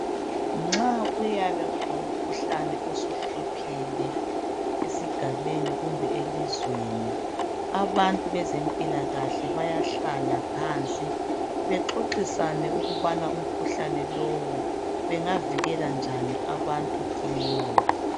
Nxa kuyabe kulomkhuhlane osuhluphile esigabeni kumbe elizweni, abantu bezempilakahle bayahlala phansi bexoxisane ukubana umkhuhlane lowu bengavikela njani abantu kiwo.